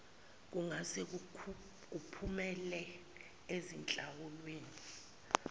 kungase kuphumele ezinhlawulweni